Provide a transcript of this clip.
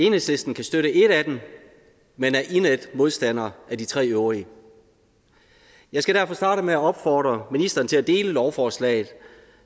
enhedslisten kan støtte et af dem men er indædt modstander af de tre øvrige jeg skal derfor starte med at opfordre ministeren til at dele lovforslaget